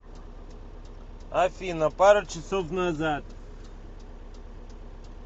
афина пару часов назад